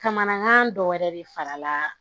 Kamanagan dɔ wɛrɛ de farala